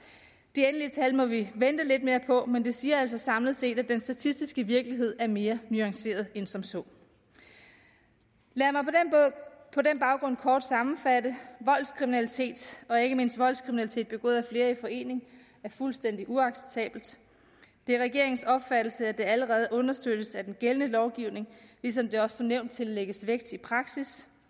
de endelige tal må vi vente lidt med at få men det siger altså samlet set at den statistiske virkeligheden er mere nuanceret end som så lad mig på den baggrund kort sammenfatte voldskriminalitet og ikke mindst voldskriminalitet begået af flere i forening er fuldstændig uacceptabelt det er regeringens opfattelse at det allerede understøttes af den gældende lovgivning ligesom det også som nævnt tillægges vægt i praksis